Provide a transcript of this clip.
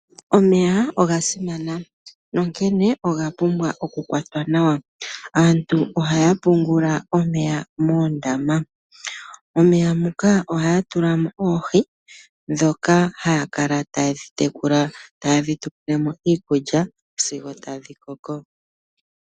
Omeya oga simana, nonkene oga pumbwa oku kwatwa nawa, aantu ohaya pungula omeya moondama, omeya muka ohaya tulamo oohi dhoka haya kala taya tekula tadhi tu pemo iikulya sigo tadhi koko.